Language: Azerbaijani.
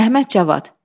Əhməd Cavad.